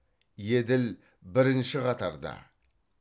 еділ бірінші қатарда